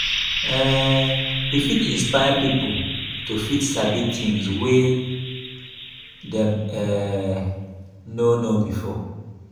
um we fit isnpire pipo to fit sabi things wey dem um no know before